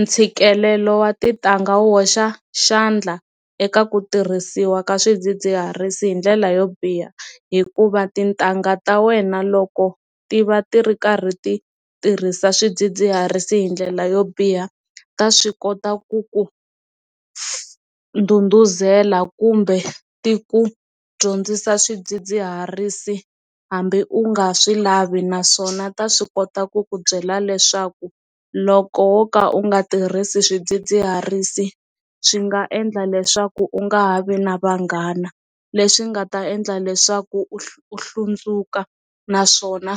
Ntshikelelo wa tintangha wo hoxa xandla eka ku tirhisiwa ka swidzidziharisi hi ndlela yo biha hikuva tintangha ta wena loko ti va ti ri karhi ti tirhisa swidzidziharisi hi ndlela yo biha ta swi kota ku ku s nduduzela kumbe ti ku dyondzisa swidzidziharisi hambi u nga swi lavi naswona ta swi kota ku ku byela leswaku loko wo ka u nga tirhisi swidzidziharisi swi nga endla leswaku u nga ha vi na vanghana leswi nga ta endla leswaku u u hlundzuka naswona